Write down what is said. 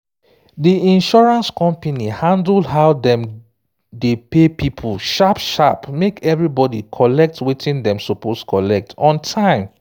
di insurance company handle how dem dey pay people sharp sharp make everybody collect wetin dem suppose collect on time